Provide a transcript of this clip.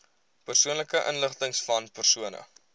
persoonlike inligtingvan persone